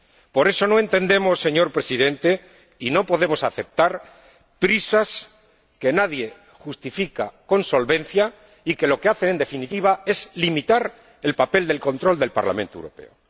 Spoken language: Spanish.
Por eso, no entendemos, señor Presidente —y no podemos aceptar— prisas que nadie justifica con solvencia y que lo que hacen, en definitiva, es limitar el papel del control del Parlamento Europeo.